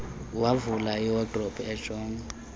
wavula iwadrobe ejonga